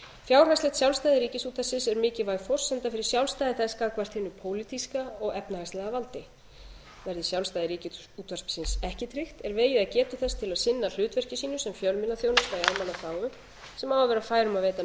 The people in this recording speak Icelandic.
fjárhagslegt sjálfstæði ríkisútvarpsins er mikilvæg forsenda fyrir sjálfstæði þess gagnvart hinu pólitíska og efnahagslega valdi verði sjálfstæði ríkisútvarpsins ekki tryggt er vegið að getu þess til að sinna hlutverki sínu sem fjölmiðlaþjónusta í almannaþágu sem á að vera fær um að veita